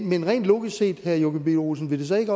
men rent logisk set herre joachim b olsen vil det så ikke